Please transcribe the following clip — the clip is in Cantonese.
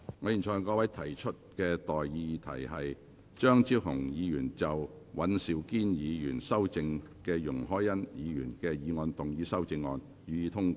我現在向各位提出的待議議題是：張超雄議員就經尹兆堅議員修正的容海恩議員議案動議的修正案，予以通過。